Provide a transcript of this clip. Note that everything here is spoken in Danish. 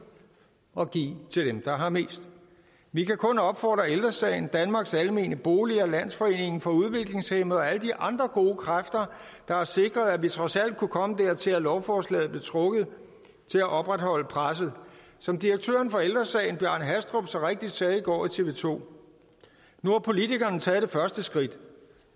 og give til dem der har mest vi kan kun opfordre ældre sagen danmarks almene boliger og landsforeningen for udviklingshæmmede og alle de andre gode kræfter der har sikret at vi trods alt kunne komme dertil at lovforslaget blev trukket til at opretholde presset som direktøren for ældre sagen bjarne hastrup så rigtig sagde i går i tv 2 nu har politikerne taget det første skridt